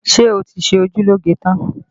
Ṣé ẹ ti ṣe ojú lóge tán?